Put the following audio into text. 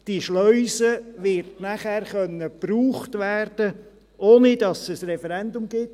Diese Schleuse wird dann benutzt werden können, ohne dass es ein Referendum gibt.